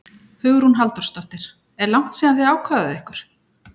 Hugrún Halldórsdóttir: Er langt síðan þið ákváðuð ykkur?